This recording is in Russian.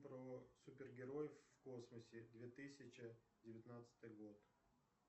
про супергероев в космосе две тысячи девятнадцатый год